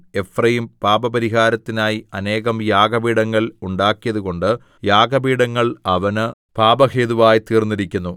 Ephraim പാപപരിഹാരത്തിനായി അനേകം യാഗപീഠങ്ങൾ ഉണ്ടാക്കിയതുകൊണ്ട് യാഗപീഠങ്ങൾ അവന് പാപഹേതുവായി തീർന്നിരിക്കുന്നു